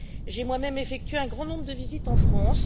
J'ai moi même effectué un grand nombre de visites en France.